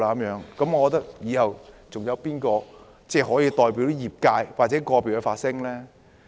如是者，以後還有誰可以代表個別業界發聲？